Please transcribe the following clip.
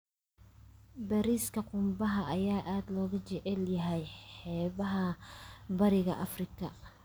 Bariiska qumbaha ayaa aad looga jecel yahay xeebaha Bariga Afrika.